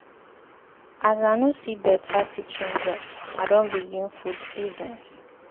As I no see beta teaching job, I don begin food business.